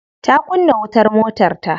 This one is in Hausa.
Ta kunna wutar motarta.